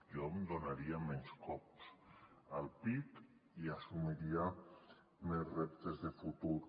jo em donaria menys cops al pit i assumiria més reptes de futur